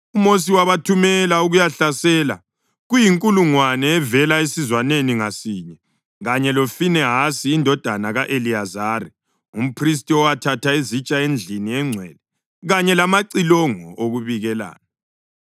UMosi wabathumela ukuyahlasela, kuyinkulungwane evela esizwaneni ngasinye, kanye loFinehasi indodana ka-Eliyazari, umphristi, owathatha izitsha endlini engcwele kanye lamacilongo okubikelana.